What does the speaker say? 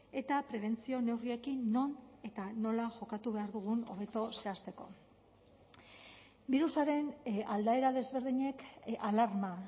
eta prebentzio neurriekin non eta nola jokatu behar dugun hobeto zehazteko birusaren aldaera desberdinek alarma